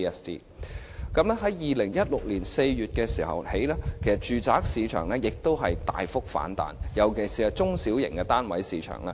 在2016年4月起，住宅市場再度大幅反彈，尤其是中小型單位的市場。